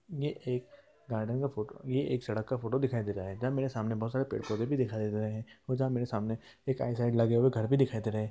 ये एक गार्डन का फोटो ये एक सड़क का फोटो दिखाई दे रहा है जहाँ मेरे सामने बोहत सारे पेड़-पौधे दिखाई दे रहे हैं जहाँ मेरे सामने एक आय साइड लगे हुए घर भी दिखाई दे रहा है।